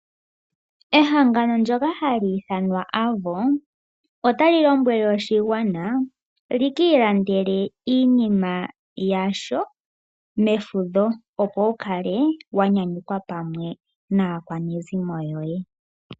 Ehangano lyoka hali ithanwa AVO otali lombwele oshigwana shiki ilandele iinima yasho mefudho opo wukale wa nyanyukwa pamwe naakwanezimo yoye.